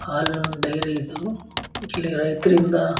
ಹಾಲ್ ನ್ ಡೈರಿ ಇದು ಇಲ್ಲಿ ರೈತರಿಂದ --